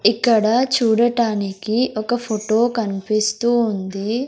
ఇక్కడ చూడటానికి ఒక ఫుటో కన్పిస్తూ ఉంది.